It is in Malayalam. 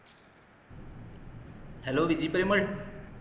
hello വിജി പെരുമാൾ